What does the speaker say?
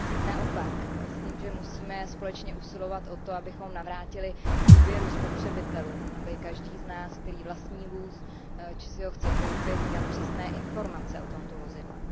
Naopak myslím, že musíme společně usilovat o to, abychom navrátili důvěru spotřebitelům, aby každý z nás, který vlastní vůz či si ho chce koupit, měl přesné informace o tomto vozidle.